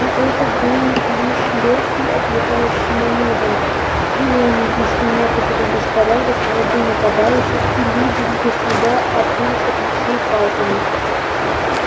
но это был лишь лёгкий отвлекающий манёвр призванный внести некоторый беспорядок в ряды нападающих и люди без труда отбились от гусей палками